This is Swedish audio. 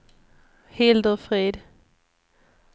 Hildur Frid